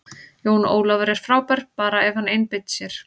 Jón Ólafur er frábær, bara ef hann einbeitir sér.